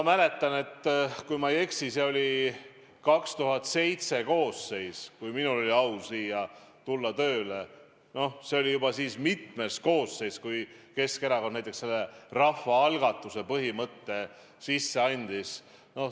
2007. aastal oli minul au tulla siia tööle ja see oli siis juba mitmes koosseis, kui Keskerakond rahvaalgatuse põhimõtte välja käis.